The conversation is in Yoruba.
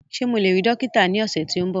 Ṣe Mo le rii dokita ni ọsẹ ti n bọ?